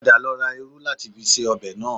Padà lọ ra irú láti fi se ọbẹ̀ náà